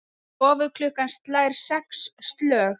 Stofuklukkan slær sex slög.